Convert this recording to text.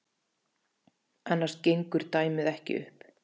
Annars gengur dæmið ekki upp.